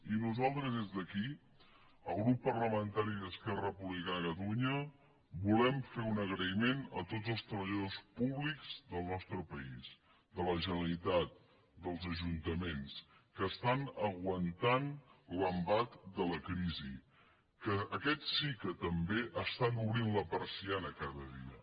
i nosaltres des d’aquí el grup parlamentari d’esquerra republicana de catalunya volem fer un agraïment a tots els treballadors públics del nostre país de la generalitat dels ajuntaments que estan aguantant l’embat de la crisi que aquests sí que també estan obrint la persiana cada dia